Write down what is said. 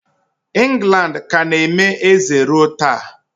England ka na-eme eze ruo taa.